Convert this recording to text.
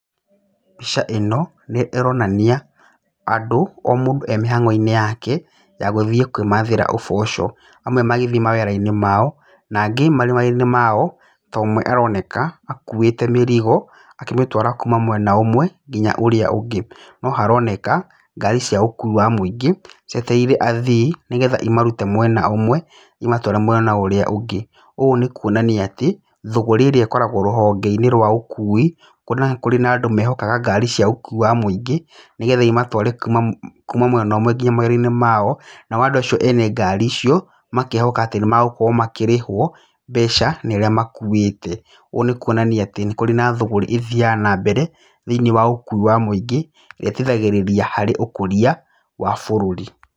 Mbica ĩno nĩronania andũ, o mũndũ emĩhangoinĩ yake ya gũthii kwĩmathĩra ũboco, amwe magĩthiĩ mawĩrainĩ mao na angĩ marĩ mawĩraini mao tondu ũmwe aroneka akuĩte mĩrigo akĩmĩtwara kuuma mwena ũmwe nginya ũríĩ ũngĩ. No haroneka ngari cia gũkua mũingĩ cietereire athii nĩgetha imarute mwena ũmwe imatware mwena ũrĩa ũngĩ, ũũ nĩ kũonania atĩ, thogoro ĩrĩ ĩkoragwa rũhongeinĩ rwa ũkui kwona kũrĩ na andũ mehokaga ngari cia gũkua mũingĩ nĩgetha imatware kuma mwena ũmwe nginya mawĩrainĩ mao nao, andũ acio ene ngari icio makehoka atĩ nĩ magũkorwo makĩrĩhwo mbeca nĩ arĩa makuĩte, ũũ nĩ kwonania atĩ nĩ kũrĩ na thũgũri ithiaga na mbere thĩinĩ wa ũkui wa mũingĩ ĩteithagĩrĩria thĩinĩ wa ũkũria wa bũrũri.